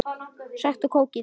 Sæktu kókið.